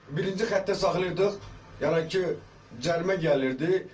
Birinci xəttə saxlayırdıq, yəni ki, cərimə gəlirdi.